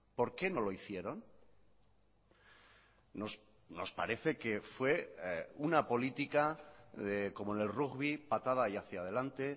por qué no lo hicieron nos parece que fue una política como en el rugby patada y hacia delante